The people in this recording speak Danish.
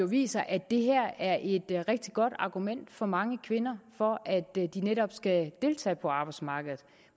viser at det her er et rigtig godt argument for mange kvinder for at de netop skal deltage på arbejdsmarkedet